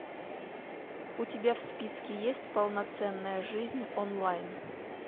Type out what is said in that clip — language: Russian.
у тебя в списке есть полноценная жизнь онлайн